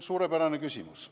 Suurepärane küsimus.